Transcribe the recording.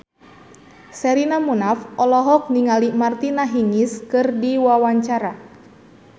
Sherina Munaf olohok ningali Martina Hingis keur diwawancara